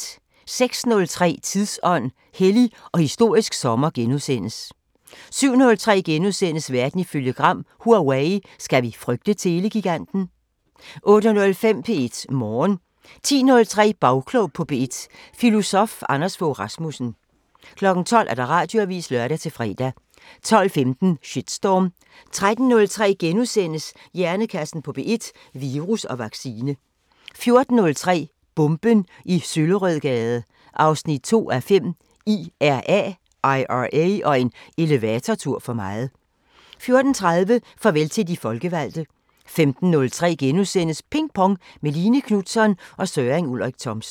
06:03: Tidsånd: Hellig og historisk sommer * 07:03: Verden ifølge Gram: Huawei – skal vi frygte telegiganten? * 08:05: P1 Morgen 10:03: Bagklog på P1: Filosof Anders Fogh Rasmussen 12:00: Radioavisen (lør-fre) 12:15: Shitstorm 13:03: Hjernekassen på P1: Virus og vaccine * 14:03: Bomben i Søllerødgade 2:5 – IRA og en elevatortur for meget 14:30: Farvel til de folkevalgte 15:03: Ping Pong – med Line Knutzon og Søren Ulrik Thomsen *